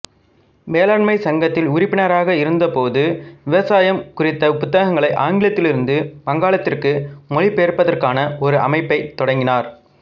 வேளாண் சங்கத்தில் உறுப்பினராக இருந்தபோது விவசாயம் குறித்த புத்தகங்களை ஆங்கிலத்திலிருந்து வங்காளத்திற்கு மொழிபெயர்ப்பதற்கான ஒரு அமைப்பைத் தொடங்கினார்